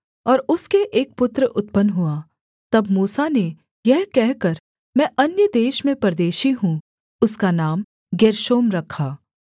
और उसके एक पुत्र उत्पन्न हुआ तब मूसा ने यह कहकर मैं अन्य देश में परदेशी हूँ उसका नाम गेर्शोम रखा